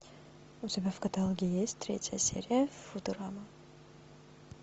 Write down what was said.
у тебя в каталоге есть третья серия футурама